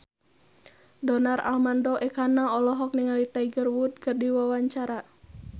Donar Armando Ekana olohok ningali Tiger Wood keur diwawancara